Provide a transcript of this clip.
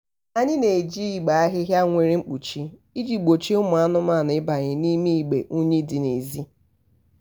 anyị na-eji igbe ahịhịa nwere mkpuchi iji gbochie ụmụ anụmanụ ịbanye n'ime igbe unyi ndị dị n'ezi.